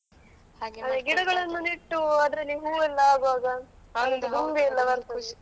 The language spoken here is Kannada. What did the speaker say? ಗಿಡಗಳನ್ನು ನೆಟ್ಟು ಅದ್ರಲ್ಲಿ ಹೂ ಎಲ್ಲ ಆಗುವಾಗ ಒಂದು ದುಂಬಿ ಎಲ್ಲ ಬರ್ತದೆ.